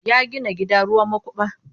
Ya gina gida ruwan makuba.